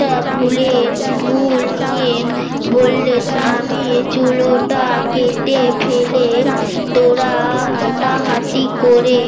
তা ভুলে ভুল নিয়ে বললেন আমি চুলুটা কেটে ফেলে তোরা হাতাহাতি করে